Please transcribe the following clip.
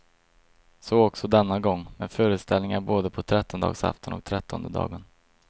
Så också denna gång, med föreställningar både på trettondedagsafton och trettondedagen.